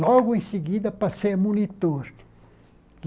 Logo em seguida, passei a monitor.